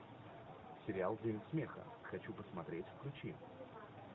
сериал день смеха хочу посмотреть включи